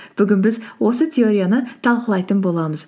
бүгін біз осы теорияны талқылайтын боламыз